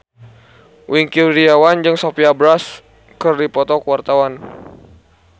Wingky Wiryawan jeung Sophia Bush keur dipoto ku wartawan